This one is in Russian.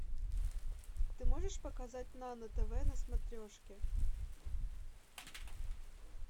ты можешь показать нано тв на смотрешке